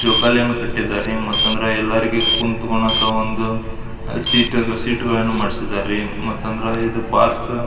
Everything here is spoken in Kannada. ಜೋಕಾಲಿಯನ್ನು ಕಟ್ಟಿದ್ದಾರೆ ಮತ್ತು ಅಂದ್ರಎಲ್ಲರಿಗೆ ಕುಂಥ್ಕೊಳ್ಳಾಕ ಒಂದು ಸಿಟ್ ಅದ ಸಿಟ್ ಗಳನ್ನೂ ಮಾಡಿಸಿದ್ದಾರೆ ಮಾತಂದ್ರ ಇದು ಪಾರ್ಕ್ --